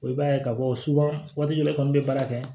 i b'a ye ka fɔ waati dɔ la i kɔni be baara kɛ